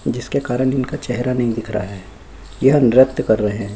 जिसके कारण जिनका चेहरा नहीं दिख रहा है यह नृत्य कर रहे है।